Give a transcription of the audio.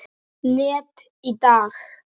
net í dag?